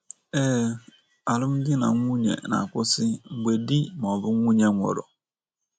Ee, alụmdinanwunye na - akwụsị mgbe di ma ọ bụ nwunye nwụrụ.